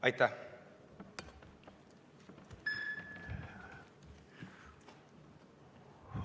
Aitäh!